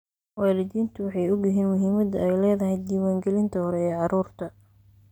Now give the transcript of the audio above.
Waalidiintu way ogyihiin muhiimadda ay leedahay diiwaangelinta hore ee carruurta.